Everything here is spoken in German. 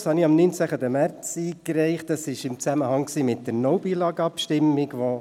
Ich habe meinen Vorstoss am 19. März im Zusammenhang mit der «No Billag»-Abstimmung eingereicht.